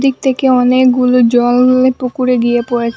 ওদিক থেকে অনেকগুলো জল এই পুকুরে গিয়ে পড়েছে।